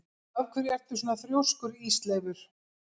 Af hverju ertu svona þrjóskur, Ísleifur?